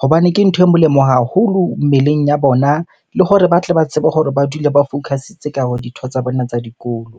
Hobane ke ntho e molemo haholo mmeleng ya bona, le hore ba tle ba tsebe hore ba dule ba focus-itse ditho tsa bona tsa dikolo.